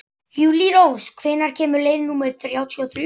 Júlírós, hvenær kemur leið númer þrjátíu og þrjú?